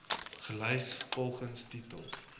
gelys volgens titel